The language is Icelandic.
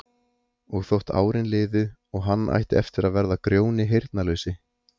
Og þótt árin liðu og hann ætti eftir að verða Grjóni heyrnarlausi